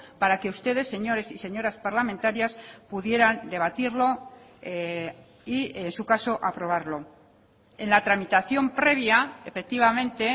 para que ustedes señores y señoras parlamentarias pudieran debatirlo y en su caso aprobarlo en la tramitación previa efectivamente